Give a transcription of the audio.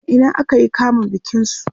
a Ina aka yi kamun bikin su?